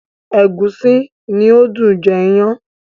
Ẹ̀gúsí ni ó dùn jẹ iyán.